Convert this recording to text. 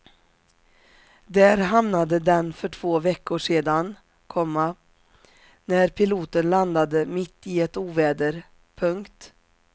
Där hamnade den för två veckor sedan, komma när piloten landade mitt i ett oväder. punkt